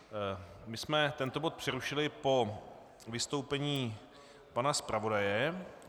My jsme tento bod přerušili po vystoupení pana zpravodaje.